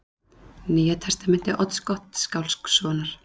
Nýja Testamenti Odds Gottskálkssonar